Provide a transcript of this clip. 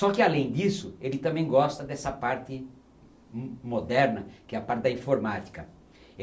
Só que, além disso, ele também gosta dessa parte mo moderna, que é a parte da informática.